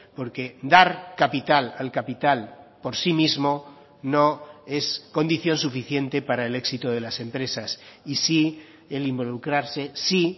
porque dar capital al capital por sí mismo no es condición suficiente para el éxito de las empresas y sí el involucrarse sí